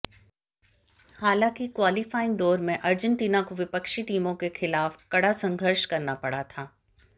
हालाँकि क्वालिफ़ाइंग दौर में अर्जंटीना को विपक्षी टीमों के ख़िलाफ़ कड़ा संघर्ष करना पड़ा था